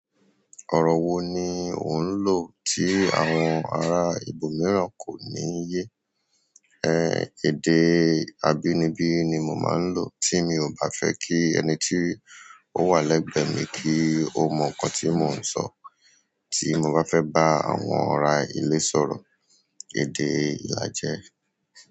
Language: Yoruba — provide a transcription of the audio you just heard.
Ọ̀rọ̀ wo ni ò ń lò tí àwọn ará ibòmíràn kò ní yé? Ẹn èdè abínibí ni mo máa ń lọ tí mio bá fẹ kí ẹni tí ó wà lẹgbẹ mi kò mọ ǹkan tí mo ń sọ. Tí mo bá fẹ bá àwọn ara ilé sọ̀rọ̀, èdè Ilajẹ.